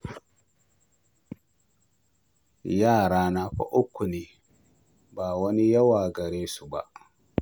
Yarana fa uku ne, ba wani yawa gare su ba